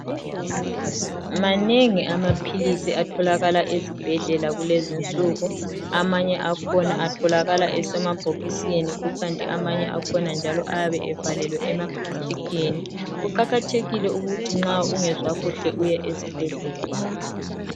Manengi amaphilisi atholakala ezibhedlela kulezinsuku. Amanye akhona atholakala esemabhokisini kukanti amanye akhona njalo ayabe evalelwe emaplastikhini. Kuqakhathekhile ukuthi nxa ungezwa kuhle uye esibhedlela.